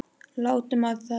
Látum á það reyna!